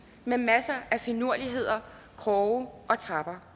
med masser af finurligheder kroge og trapper